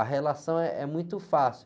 a relação eh, é muito fácil.